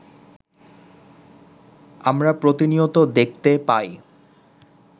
আমরা প্রতিনিয়ত দেখতে পাই